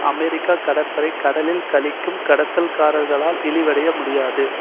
அமெரிக்க கடற்படை கடலில் களிக்கும் கடத்தல்காரர்களால் இழிவடைய முடியாது